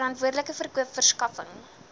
verantwoordelike verkoop verskaffing